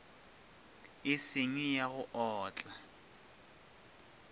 e seng ya go otla